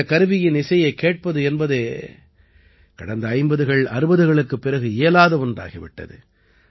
இந்தக் கருவியின் இசையைக் கேட்பது என்பதே கடந்த 50கள் 60களுக்குப் பிறகு இயலாத ஒன்றாகி விட்டது